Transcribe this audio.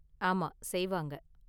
ஆமா செய்வாங்க.